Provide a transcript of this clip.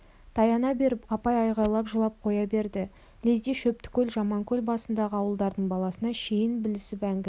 таяна беріп апай айғайлап жылап қоя берді лезде шөптікөл жаманкөл басындағы ауылдардың баласына шейін білісіп әңгіме